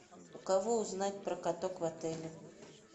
у кого узнать про каток в отеле